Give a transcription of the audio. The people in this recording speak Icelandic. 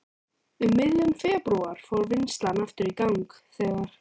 Um miðjan febrúar fór vinnslan aftur í gang þegar